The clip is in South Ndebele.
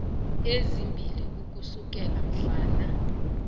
ezimbili ukusukela mhlazana